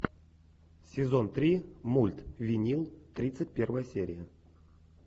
сезон три мульт винил тридцать первая серия